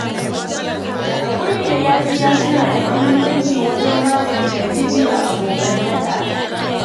Hakuri da yafiya suna da muhimmanci wajen magance rikici a abokantaka.